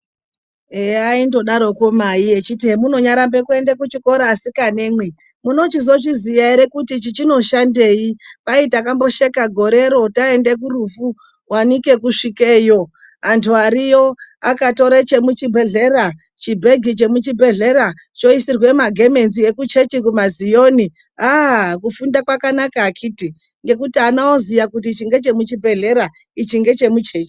Eya aindodaroko Mai eiti esi emunoramba kuenda kuchikora asikanemwi munochizozviziya ere kuti ichi chinoshandei Kwai takambosheka gorero taenda kurufu wanike kusvikeyo anhu ariyo akatora chemuchibhedhlera, chibhegi chemuchibhedhlera choisirwa magemenzi eku church kumazioni ,aaah kufunda kwakanaka akhiti ngekuti ana oziya kuti ichi ngechemuchibhedhlera ichi ngechemu chechi.